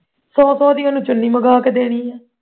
ਸੌ ਸੌ ਦੀ ਉਹਨੂੰ ਚੁੰਨੀ ਮੰਗਾ ਕੇ ਦੇਣੀਆਂ